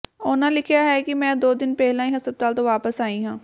ਉਨ੍ਹਾਂ ਲਿਖਿਆ ਕਿ ਮੈਂ ਦੋ ਦਿਨ ਪਹਿਲਾਂ ਹੀ ਹਸਪਤਾਲ ਤੋਂ ਵਾਪਸ ਆਈ ਹਾਂ